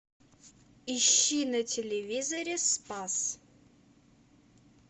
ищи на телевизоре спас